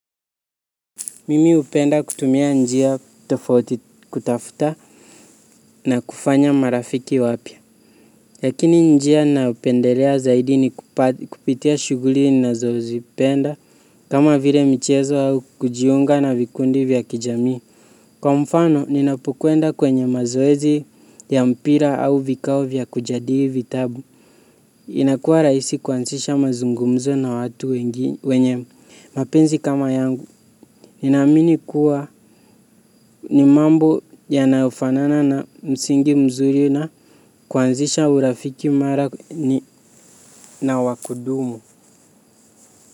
Mimi hupenda kutumia njia tofauti kutafuta na kufanya marafiki wapya. Lakini njia nayopendelea zaidi ni kupitia shughuli nazozipenda kama vile michezo au kujiunga na vikundi vya kijamii. Kwa mfano, ninapokwenda kwenye mazoezi ya mpira au vikao vya kujadili vitabu. Inakuwa rahisi kuansisha mazungumzo na watu wengi wenye. Mapenzi kama yangu, ninaamini kuwa ni mambo yanayofanana na msingi mzuri na kuanzisha urafiki mara na wa kudumu.